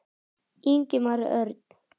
Ingimar Örn.